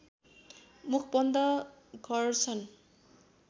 मुख बन्द गर्छन्